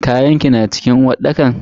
Kayanki na cikin uwarɗakar ne?